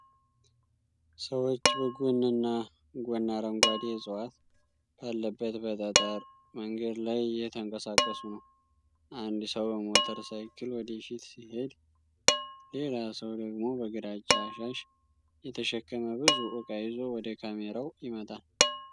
ሰዎች በጎንና ጎን አረንጓዴ ዕፅዋት ባለበት በጠጠር መንገድ ላይ እየተንቀሳቀሱ ነው። አንድ ሰው በሞተር ሳይክል ወደፊት ሲሄድ፣ ሌላ ሰው ደግሞ በግራጫ ሻሽ የተሸከመ ብዙ እቃ ይዞ ወደ ካሜራው ይመጣል።